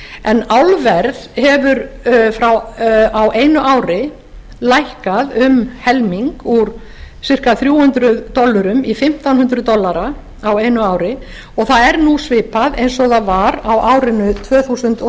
en álverð hefur á einu ári lækkað um helming úr ca þrjú hundruð dollurum í fimmtán hundruð dollara á einu ári og það er nú svipað eins og það var á árinu tvö þúsund og